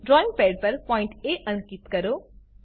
drawing pad પર point A અંકીત કરો